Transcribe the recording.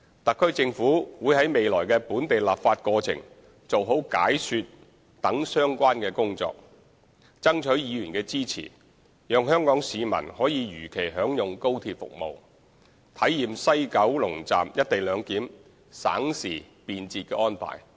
特區政府會在未來的本地立法過程做好解說等相關工作，爭取議員的支持，讓香港市民可如期享用高鐵服務，體驗西九龍站"一地兩檢"省時便捷的安排。